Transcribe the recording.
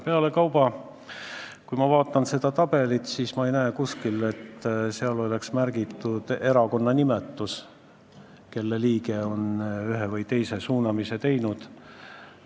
Pealekauba, kui ma vaatan seda tabelit, siis ma ei näe kuskil, et sinna oleks märgitud selle erakonna nimi, kelle liige on ühe või teise suunamise teinud.